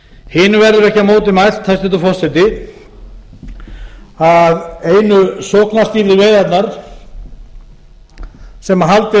hinu verður ekki á móti mælt hæstvirtur forseti að einu sóknarstýrðu veiðarnar sem haldið er